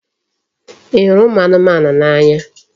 Ị hụrụ ụmụ anụmanụ n'anya?